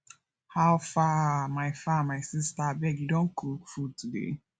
how far my far my sista abeg you don cook food today